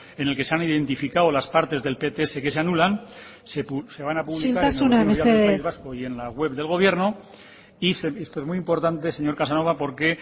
en el que se han identificado las partes del pts que se anulan se van a publicar en el boletín oficial del país vasco isiltasuna mesedez y en la web del gobierno y esto es muy importante señor casanova porque